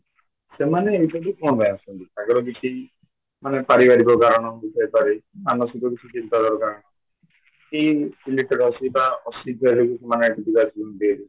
ସେମାନେ ଏଇଠା କୁ କ'ଣ ପାଇଁ ଆସୁଛନ୍ତି ତାଙ୍କର କିଛି ମାନେ ପାରିବାରିକ କାରଣ ହେଇଥାଇପାରେ ମାନସିକ ଦୁଶ୍ଚିନ୍ତା ଏଇ letter ଅଛି ବା ମାନେ